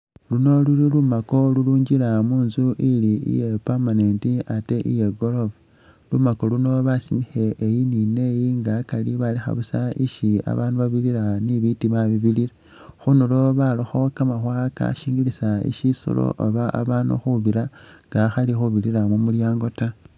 Luno luli lumaako lulwingila munzu ili iye permanent ate iye goroofa, lumaako luno basimikhile eyi ni neyi nga akari balekha busa isi babaandu babirira ni bitiima bibirira, khundulo barakho kamaawa kashingilisa shisoolo oba abandu khubiira nga akhaali khubirira mumulyaango ta